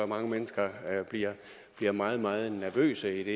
mange mennesker bliver meget meget nervøse idet